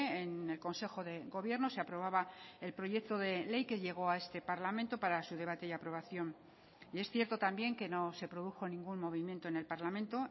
en el consejo de gobierno se aprobaba el proyecto de ley que llegó a este parlamento para su debate y aprobación y es cierto también que no se produjo ningún movimiento en el parlamento